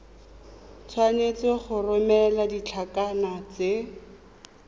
tshwanetse go romela ditlankana tse